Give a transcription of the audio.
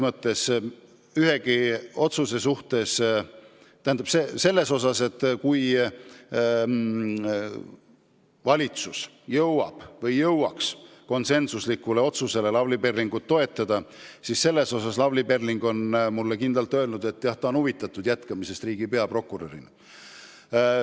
Lavly Perling on mulle kindlalt öelnud, et kui valitsus jõuaks konsensuslikule otsusele teda toetada, siis on ta huvitatud jätkamisest riigi peaprokurörina.